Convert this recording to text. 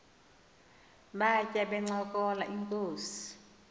batya bencokola inkos